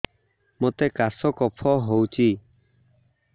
ମୋତେ କାଶ କଫ ହଉଚି